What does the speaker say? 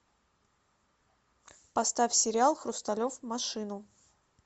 поставь сериал хрусталев машину